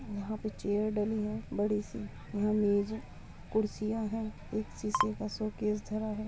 यहाँ पर चेयर डली हैं बड़ी सी यंहा मेज है कुर्सिंया हैं एक शीशे का शो केस धरा है।